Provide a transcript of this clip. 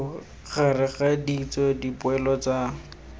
gareg ga ditso dipoelo tsa